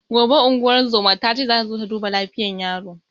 Gobe ingozuman tace zata zo ta duba lafiyar yaron